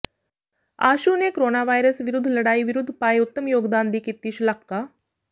ਆਸ਼ੂ ਨੇ ਕੋਰੋਨਾਵਾਇਰਸ ਵਿਰੁੱਧ ਲੜਾਈ ਵਿਰੁੱਧ ਪਾਏ ਉਤਮ ਯੋਗਦਾਨ ਦੀ ਕੀਤੀ ਸ਼ਲਾਘਾ